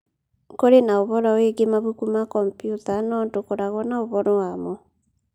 Kũrĩ na ũhoro wĩgiĩ mabuku ma kompiuta, no ndũkoragwo na ũhoro wamo